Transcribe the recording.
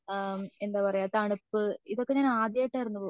ഏഹ്ഹ്ത എന്താ പറയാ തണുപ്പ് ഇതൊക്കെ ഞാൻ ആദ്യായിട്ട് ആയിരുന്നു